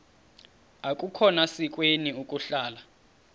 akukhona sikweni ukuhlala